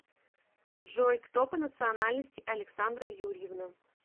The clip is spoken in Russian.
джой кто по национальности александра юрьевна